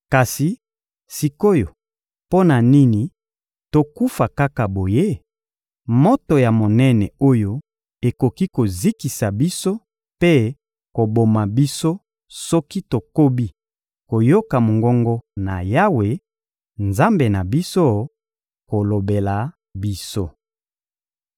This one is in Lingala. Kasi sik’oyo mpo na nini tokufa kaka boye? Moto ya monene oyo ekoki kozikisa biso mpe koboma biso soki tokobi koyoka mongongo na Yawe, Nzambe na biso, kolobela biso.